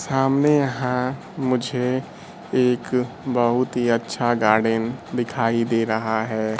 सामने यहां मुझे एक बहुत ही अच्छा गाड़ी दिखाई दे रहा है।